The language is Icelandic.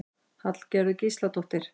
Hallgerður Gísladóttir.